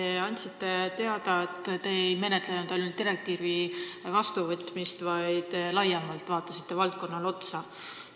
Te andsite teada, et te ei menetlenud ainult direktiivi vastuvõtmist, vaid vaatasite valdkonnale laiemalt otsa.